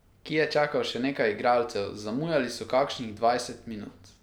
Ki je čakal še nekaj igralcev, zamujali so kakšnih dvajset minut.